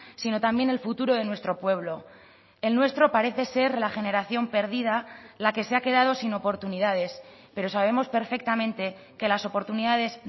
sino también el futuro de nuestro pueblo el nuestro parece ser la generación perdida la que se ha quedado sin oportunidades pero sabemos perfectamente que las oportunidades